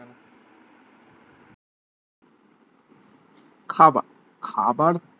খাবার খাবার